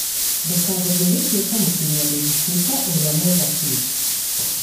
Ndũkagerie gũtuĩka mũkinyanĩru, tuĩka ũrĩa mwega biũ.